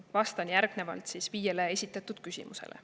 Vastan järgnevalt viiele esitatud küsimusele.